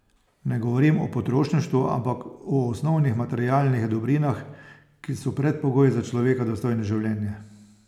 Ne govorim o potrošništvu , ampak o osnovnih materialnih dobrinah, ki so predpogoj za človeka dostojno življenje.